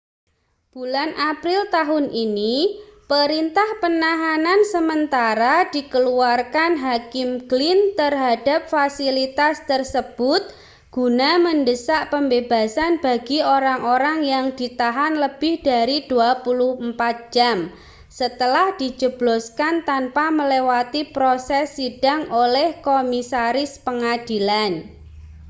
bulan april tahun ini perintah penahanan sementara dikeluarkan hakim glynn terhadap fasilitas tersebut guna mendesak pembebasan bagi orang-orang yang ditahan lebih dari 24 jam setelah dijebloskan tanpa melewati proses sidang oleh komisaris pengadilan